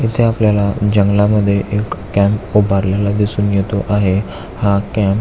इथे आपल्याला जंगलामधे एक कॅम्प उभारलेला दिसून येतो आहे. हा कॅम्प --